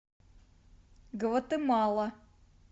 гватемала